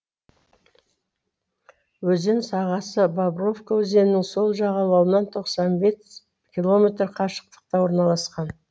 өзен сағасы бобровка өзенінің сол жағалауынан тоқсан бес километр қашықтықта орналасқан